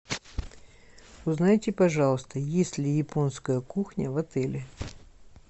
узнайте пожалуйста есть ли японская кухня в отеле